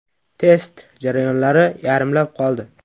Test jarayonlari yarimlab qoldi.